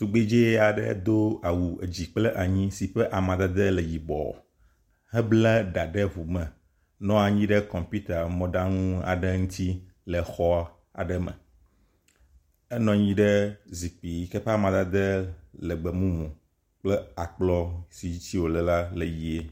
Tugbedzɛ aɖe si dó awu dzi kple anyi si ƒe amadede le yibɔ ebla ɖà ɖe ʋume nɔanyi ɖe kɔmputa mɔɖaŋu aɖe ŋtsi le.xɔ aɖe me enɔnyi ɖe zikpi yike ƒe amadede le gbemumu kple akplɔ si ŋtsi wòle la le yie